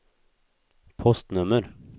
postnummer